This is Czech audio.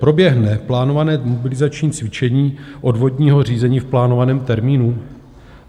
Proběhne plánované mobilizační cvičení odvodního řízení v plánovaném termínu?